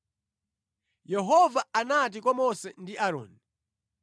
Yehova anati kwa Mose ndi Aaroni: